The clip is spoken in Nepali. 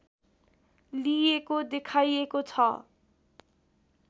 लिएको देखाइएको छ